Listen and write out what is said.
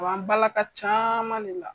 A b'an balaka caman de la.